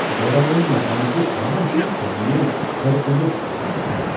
ویران مكانچہِ خاموشی ژٲنۍ مے٘ تھٔر کنڈِس تھٕرٕ تھرٕ ۔